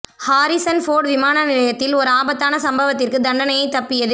Harrison Ford விமான நிலையத்தில் ஒரு ஆபத்தான சம்பவத்திற்கு தண்டனையை தப்பியது